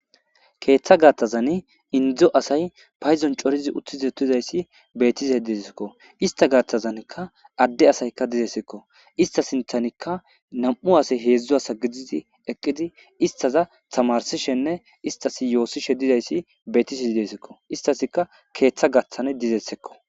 Keeththa gaathazani indzo asay payzon corizi uttizetizayssi betise diekko ista gaatthazanikka adde asayka dizeessekko ista sinthanikka nam'u asay heedzdzo asa gididi eqqidi istaza tamarsishenne istasi yoossishe didayssi beetisi idesekko istasika keeththa gaaththan dizeessekko.